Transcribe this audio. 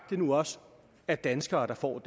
det nu også er danskere der får